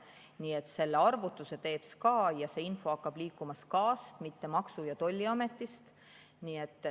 Nii et selle arvutuse teeb SKA ja see info hakkab liikuma SKA‑s, mitte Maksu‑ ja Tolliametis.